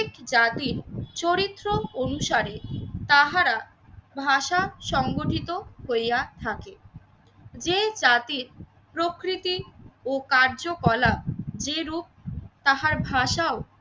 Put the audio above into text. জাতির চরিত্র অনুসারে তাহারা ভাষা সংগঠিত হইয়া থাকে। যে জাতির প্রকৃতি ও কার্যকলাপ যে রূপ তাহার ভাষাও